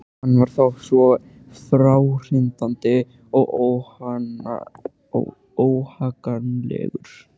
Hann var þá svo fráhrindandi og óhagganlegur.